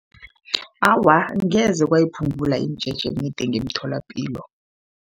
Awa, angeze kwayiphungula imijeje emide ngemtholapilo.